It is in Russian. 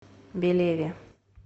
белеве